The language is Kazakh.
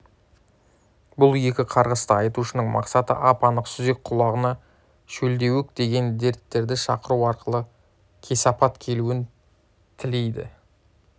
бұл екі қарғыста айтушының мақсаты ап-анық сүзек құлғана шөлдеуік деген дерттерді шақыру арқылы кесапат келуін тілейді